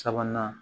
Sabanan